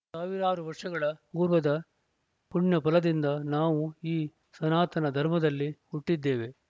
ಸಾವಿರಾರು ವರ್ಷಗಳ ಪೂರ್ವದ ಪುಣ್ಯಫಲದಿಂದ ನಾವು ಈ ಸನಾತನ ಧರ್ಮದಲ್ಲಿ ಹುಟ್ಟಿದ್ದೇವೆ